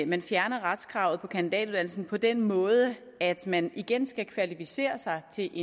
man fjerner retskravet på kandidatuddannelsen på den måde at man igen skal kvalificere sig til